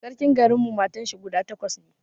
Sarkin garin mu matan shi guda takwas ne